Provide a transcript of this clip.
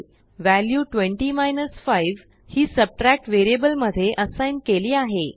व्हेल्यु20 5हिsubtract वेरिअबल मध्ये असाइग्नकेली आहे